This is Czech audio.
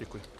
Děkuji.